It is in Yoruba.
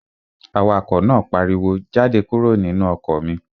Awakọ̀ náà pariwo, "Jáde kúrò nínú ọkọ̀ mi!"